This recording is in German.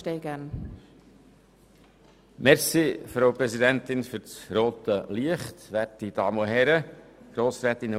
Wenn wir diese haben, gebe ich das Wort gerne dem Sprecher der JuKo, Herrn Grossrat Klopfenstein.